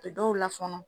U bɛ dɔw la fɔnɔ